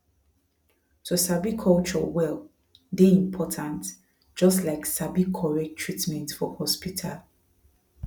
to sabi culture well dey important just like sabi correct treatment for hospital